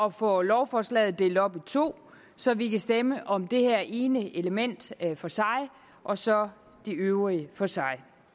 at få lovforslaget delt op i to så vi kan stemme om det her ene element for sig og så de øvrige for sig